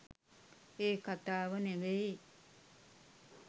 ඒ කතාව නෙවෙයි.